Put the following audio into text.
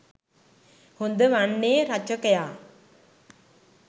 හොඳ වන්නේ රචකයා